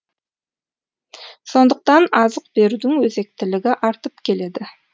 сондықтан азық берудің өзектілігі артып келеді